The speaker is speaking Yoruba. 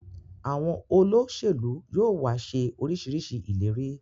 Àwọn Olóṣèlú yóò wá ṣe orisirisii ìlérí